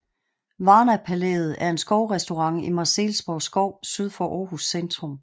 Varna Palæet er en skovrestaurant i Marselisborg Skov syd for Aarhus centrum